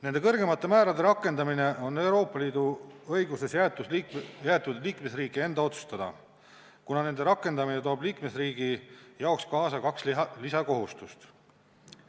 Nende kõrgemate määrade rakendamine on Euroopa Liidu õiguses jäetud liikmesriigi enda otsustada, kuna nende rakendamine toob liikmesriigile kaasa kaks lisakohustust.